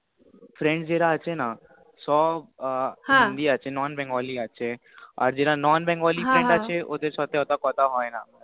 Friend যে রা আছে না হ্য়াঁ সব হিন্দি আছে Non Bengali আছে যে রা Non Bengali Friend আছে ওদের সাথে এতো কথা হয় না